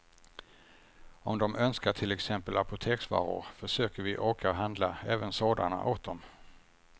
Om de önskar till exempel apoteksvaror försöker vi åka och handla även sådana åt dem.